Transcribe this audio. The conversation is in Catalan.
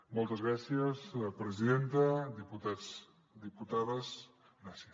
moltes gràcies presidenta diputats diputades gràcies